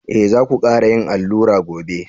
Eh za ku kara yin allura gobe.